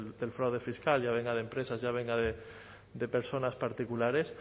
del fraude fiscal ya venga de empresas ya venga de personas particulares